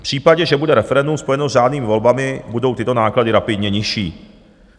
V případě, že bude referendum spojeno s řádnými volbami, budou tyto náklady rapidně nižší.